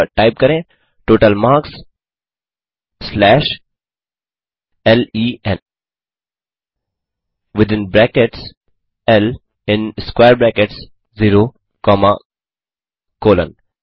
अतः टाइप करें total marks slash len within brackets L in square brackets 0 comma colon